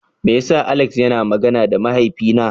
Meya sa Alex yana magana da mahaifi na?